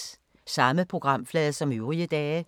Samme programflade som øvrige dage